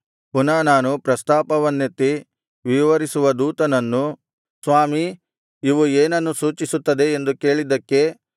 ಪುನಃ ನಾನು ಪ್ರಸ್ತಾಪವನ್ನೆತ್ತಿ ವಿವರಿಸುವ ದೇವದೂತನನ್ನು ಸ್ವಾಮೀ ಇವು ಏನನ್ನು ಸೂಚಿಸುತ್ತದೆ ಎಂದು ಕೇಳಿದ್ದಕ್ಕೆ